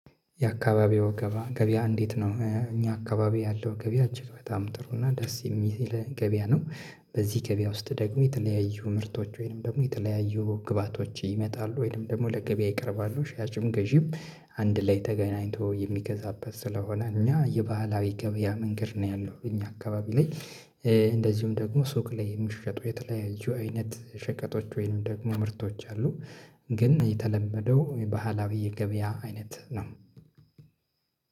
የአካባቢው ገባ ገበያ እንዴት ነው? እኛ አካባቢ ያለው ገበያ እጅግ በጣም ጥሩ እና ደስ የሚል ገበያ ነው። በዚህ ገበያ ውስጥ ደግሞ የተለያዩ ምርቶች ወይንም ደግሞ የተለያዩ ግብአቶች ይመጣሉ፤ ወይንም ደግሞ ለገበያ ይቀርባሉ። ሻጭም ገዢም አንድ ላይ ተገናኝቶ የሚገዛበት ስለሆነ እኛ የባህላዊ ገበያ መንገድ ነው ያለው እኛ አካባቢ ላይ እንደዚሁም ደግሞ ሱቅ ላይ የሚሸጡ የተለያዩ አይነት ሸቀጦች ወይንም ደግሞ ምርቶች አሉ። ግን የተለመደው ባህላዊ የገበያ አይነት ነው።